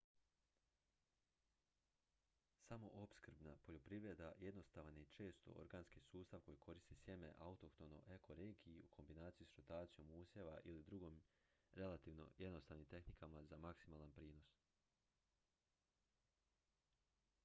samoopskrbna poljoprivreda jednostavan je i često organski sustav koji koristi sjeme autohtono ekoregiji u kombinaciji s rotacijom usjeva ili drugim relativno jednostavnim tehnikama za maksimalan prinos